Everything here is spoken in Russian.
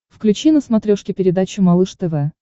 включи на смотрешке передачу малыш тв